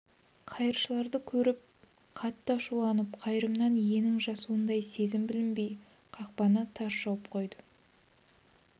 қайыршыларды көріп қатты ашуланып қайырымнан иненің жасуындай сезім білінбей қақпаны тарс жауып қойды